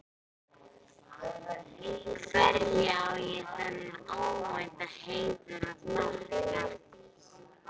Hverju á ég þennan óvænta heiður að þakka?